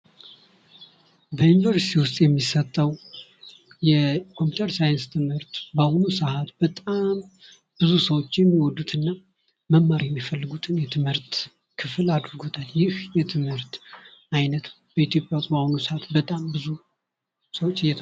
በዩኒቨርስቲ ውስጥ የሚሰጠው የኮምፒተር ሳይንስ ትምህርት በአሁኑ ሰዓት በጣም ብዙ ሰዎች የሚወዱትና መማር የሚፈልጉት የትምህርት ክፍል አድርጎታል ይህ የትምህርት አይነት በኢትዮጵያ በአሁኑ ሰዓት በጣም ብዙ ሰወች...